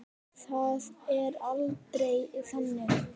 Það er aldrei þannig.